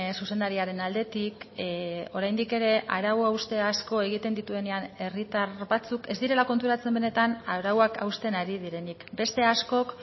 zuzendariaren aldetik oraindik ere arau hauste asko egiten dituenean herritar batzuk ez direla konturatzen benetan arauak hausten ari direnik beste askok